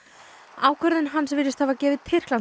ákvörðun hans virðist hafa gefið